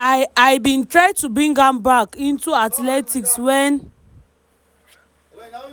"i "i bin try to bring am back into athletics wen